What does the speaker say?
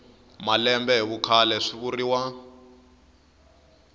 malembe hi vukhale swi vuriwa